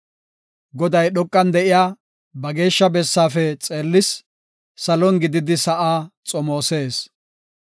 Goday dhoqan de7iya ba geeshsha bessaafe xeellis; salon gididi sa7aa xomoosees.